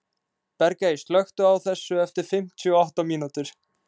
Bergey, slökktu á þessu eftir fimmtíu og átta mínútur.